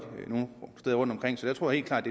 rundtomkring så jeg tror helt klart